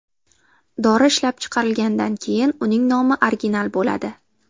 Dori ishlab chiqarilgandan keyin uning nomi original bo‘ladi.